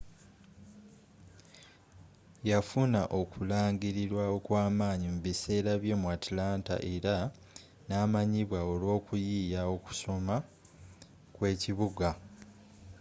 yafuna okulangilirwa okwamanyi mu biseera bye mu atlanta era namanyibwa olw'okuyiiya kw'okusoma kw'ekibuga